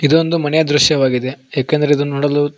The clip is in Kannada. ಇದೊಂದು ಮನೆಯ ದೃಶ್ಯವಾಗಿದೆ ಏಕೆಂದರೆ ಇದು ನೋಡಲು--